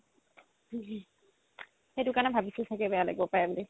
সেইটো কাৰণে ভাবিছো চাগে বেয়া লাগিব পাৰে বুলি